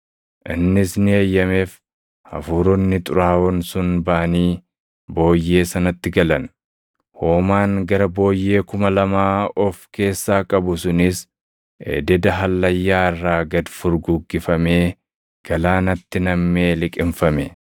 Innis ni eeyyameef; hafuuronni xuraaʼoon sun baʼanii booyyee sanatti galan. Hoomaan gara booyyee kuma lamaa of keessaa qabu sunis ededa hallayyaa irraa gad furguggifamee galaanatti namʼee liqimfame.